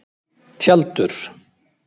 Tjaldur